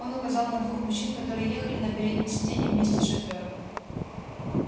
он указал на двух мужчин которые ехали на переднем сидении вместе с шофером